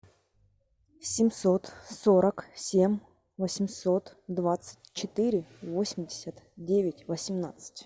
семьсот сорок семь восемьсот двадцать четыре восемьдесят девять восемнадцать